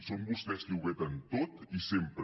són vostès qui ho veten tot i sempre